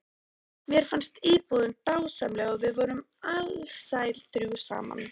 Mér fannst íbúðin dásamleg og við vorum alsæl þrjú saman.